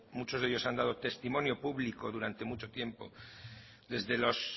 muchos de ellos han dado testimonio público durante mucho tiempo desde los